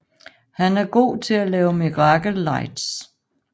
Han er god til at lave Miracle Lights